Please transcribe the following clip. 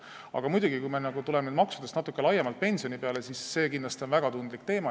Aga muidugi, kui me tuleme maksude juurest natuke laiemalt pensioni juurde, siis see on kindlasti väga tundlik teema.